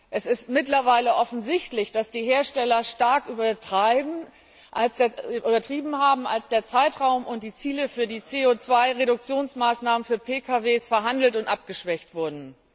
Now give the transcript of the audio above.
Es ist mittlerweile offensichtlich, dass die Hersteller stark übertrieben haben, als der Zeitraum und die Ziele für die CO Reduktionsmaßnahmen für Pkw verhandelt und abgeschwächt wurden.